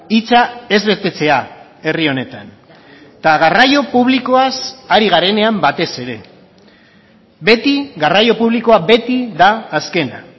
hitza ez betetzea herri honetan eta garraio publikoaz ari garenean batez ere beti garraio publikoa beti da azkena